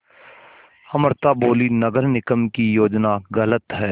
अमृता बोलीं नगर निगम की योजना गलत है